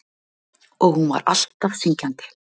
Og hún var alltaf syngjandi.